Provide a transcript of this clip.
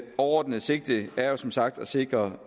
overordnede sigte er jo som sagt at sikre